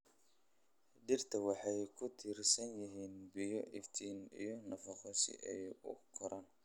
Dhirta waxay ku tiirsan yihiin biyo, iftiin, iyo nafaqo si ay u koraan.